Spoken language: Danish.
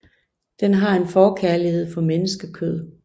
Den har en forkærlighed for menneskekød